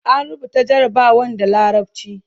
an rubuta jarabawan da larabci